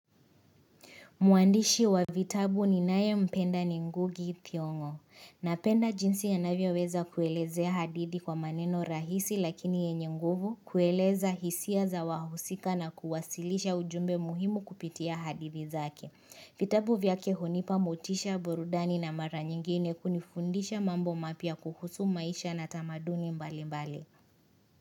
Mwandishi wa vitabu ninayependa ni ngugi itiongo. Napenda jinsi anavyoweza kuelezea hadithi kwa maneno rahisi lakini yenye nguvu, kueleza hisia za wahusika na kuwasilisha ujumbe muhimu kupitia hadithi zake. Vitabu vyake hunipa motisha borudani na mara nyingine kunifundisha mambo mapia kuhusu maisha na tamaduni mbali mbali.